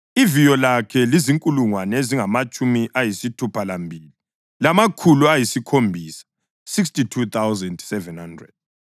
Iviyo lakhe lizinkulungwane ezingamatshumi ayisithupha lambili, lamakhulu ayisikhombisa (62,700).